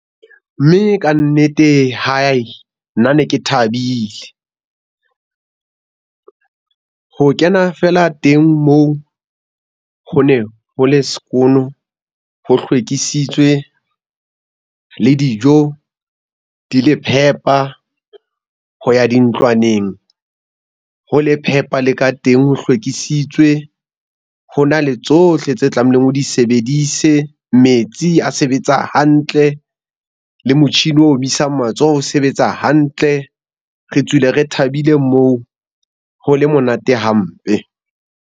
Mme kannete nna ne ke thabile ho kena fela teng moo, ho ne ho le sekono ho hlwekisitswe le dijo di le phepa. Ho ya dintlwaneng ho le phepa le ka teng ho hlwekisitswe. Ho na le tsohle tse tlamehileng o di sebedise. Metsi a sebetsa hantle. Le motjhini o omisang matsoho o sebetsa hantle. Re tswile re thabile moo ho le monate hampe.